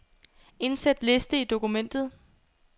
Indsæt liste i dokumentet.